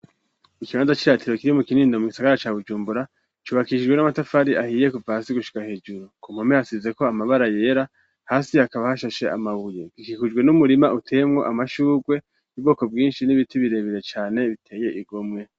Ikibanza ciratiro kiri mu kinindo mu gisagara ca bujumbura cubakishijwe n'amatafari ahiye kuva hasi gushika hejuru ku mpame hasiize ko amabara yera hasi akaba hashashe amabuye ikihujwe n'umurima uteye mwo amashugwe ibwoko bwinshi n'ibiti birebere cane biteye igomwe.